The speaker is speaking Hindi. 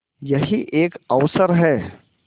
यही एक अवसर है